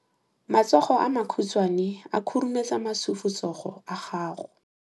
Matsogo a makhutshwane a khurumetsa masufutsogo a gago.